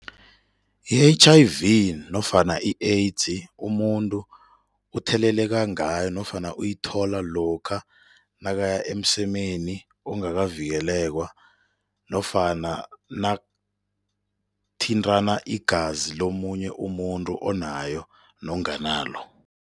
I-H_I_V nofana i-AIDS umuntu utheleleka ngayo nofana uyithola lokha nakaya emsemeni ongakavikelekwa nofana nakuthintana igazi lomunye umuntu onayo nonganalo.